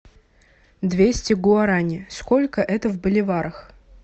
двести гуарани сколько это в боливарах